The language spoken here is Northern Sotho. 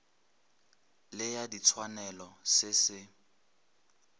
le ya ditshwanelo se se